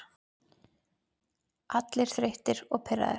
Allir þreyttir og pirraðir.